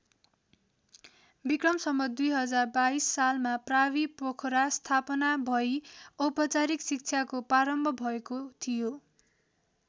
विक्रम सम्वत् २०२२ सालमा प्रावि पोखरा स्थापना भई औपचारिक शिक्षाको प्रारम्भ भएको थियो।